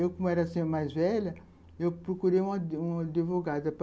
Eu, como era a assim a mais velha, eu procurei um advogado.